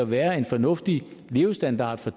være en fornuftig levestandard for